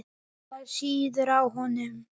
Það sýður á honum.